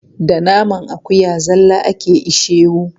Da naman akuya zalla ake ishewu.